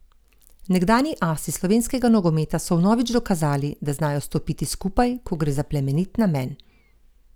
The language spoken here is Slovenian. Nekdanji asi slovenskega nogometa so vnovič dokazali, da znajo stopiti skupaj, ko gre za plemenit namen.